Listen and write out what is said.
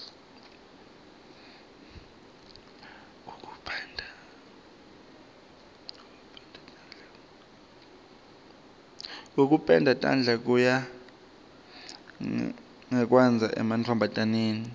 kokupenda tandla kuya ngekwandza emantfombataneni